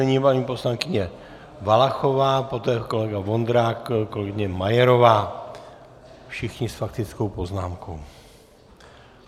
Nyní paní poslankyně Valachová, poté kolega Vondrák, kolegyně Majerová, všichni s faktickou poznámkou.